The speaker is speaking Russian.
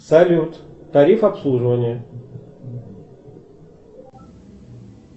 салют тариф обслуживания